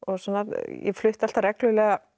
ég flutti alltaf reglulega